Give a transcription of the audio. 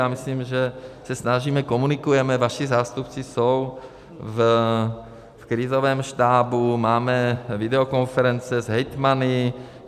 Já myslím, že se snažíme, komunikujeme, vaši zástupci jsou v krizovém štábu, máme videokonference s hejtmany.